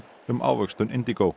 um ávöxtun